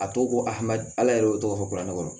A tɔ ko hadamaden ala yɛrɛ y'o tɔgɔ fɔ kuranɛ kɔnɔ